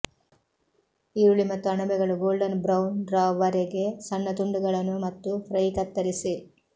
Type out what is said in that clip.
ಈರುಳ್ಳಿ ಮತ್ತು ಅಣಬೆಗಳು ಗೋಲ್ಡನ್ ಬ್ರೌನ್ ರವರೆಗೆ ಸಣ್ಣ ತುಂಡುಗಳನ್ನು ಮತ್ತು ಫ್ರೈ ಕತ್ತರಿಸಿ